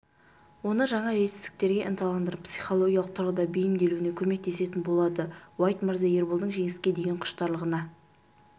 оны жаңа жетістіктерге ынталандырып психологиялық тұрғыда бейімделуіне көмектесетін болады уайт мырза ерболдың жеңіске деген құштарлығына